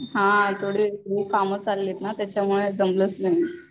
हा थोडे काम चाललेत ना त्याच्यामुळे जमलच नाही